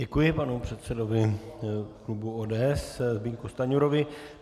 Děkuji panu předsedovi klubu ODS Zbyňku Stanjurovi.